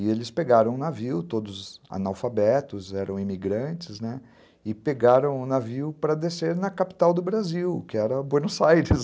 E eles pegaram um navio, todos analfabetos, eram imigrantes, né, e pegaram um navio para descer na capital do Brasil, que era Buenos Aires